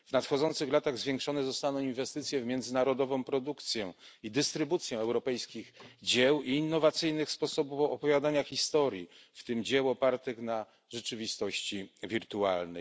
W nadchodzących latach zwiększone zostaną inwestycje w międzynarodową produkcję i dystrybucję europejskich dzieł i innowacyjnych sposobów opowiadania historii, w tym dzieł opartych na rzeczywistości wirtualnej.